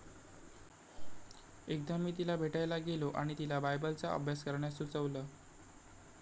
एकदा मी तिला भेटायला गेलो आणि तिला बायबलचा अभ्यास करण्यास सुचवलं.